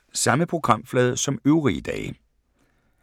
Samme programflade som øvrige dage